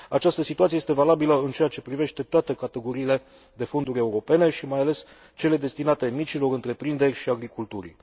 Această situație este valabilă în ceea ce privește toate categoriile de fonduri europene și mai ales cele destinate micilor întreprinderi și agriculturii.